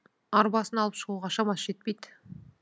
арбасын алып шығуға шамасы жетпейді